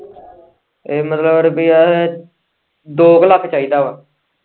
ਇਹ ਮਤਲਬ ਰੁਪਏ ਏ ਦੋ ਕ ਲੱਖ ਚਾਹੀਦਾ ਵਾਂ।